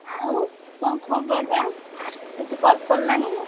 ଆଉ କଣ ଖବର ବା? କିଛି call ଫଲ ନାହିଁ।